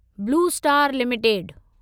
blue Star limited